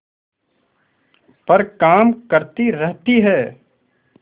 पर काम करती रहती है